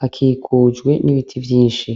hakikujwe nibiti vyinshi